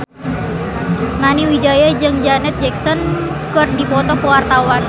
Nani Wijaya jeung Janet Jackson keur dipoto ku wartawan